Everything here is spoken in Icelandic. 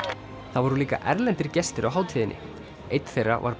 það voru líka erlendir gestir á hátíðinni einn þeirra var